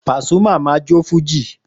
Pasuma ma jó fújì